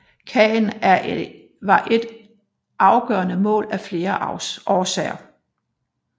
Caen var et afgørende mål af flere årsager